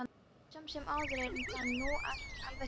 Samt sem áður er það nú ekki alveg tómt.